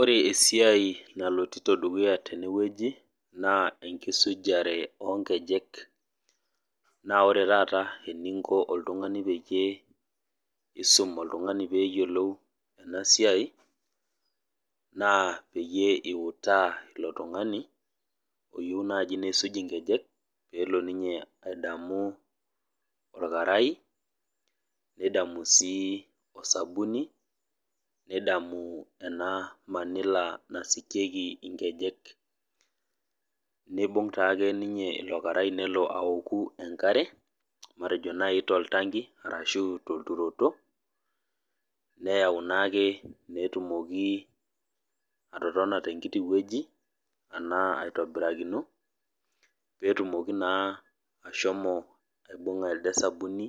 Ore esiai naloito dukuya tenewueji, naa enkisujare onkejek. Na ore taata eninko oltung'ani peyie isum oltung'ani peyiolou enasiai, naa peyie iutaa ilo tung'ani, oyieu naji nisuj inkejek, pelo ninye ang'amu orkarai, nidamu si osabuni, nidamu ena manila nasikieki nkejek. Nibung' taake ninye ilo karai nelo aoku enkare, matejo nai toltanki arashu tolturoto, neyau naake petumoki atotona tenkiti woji, anaa aitobirakino, petumoki naa ashomo aibung'a elde sabuni,